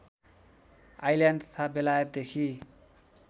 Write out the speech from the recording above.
island तथा बेलायतदेखि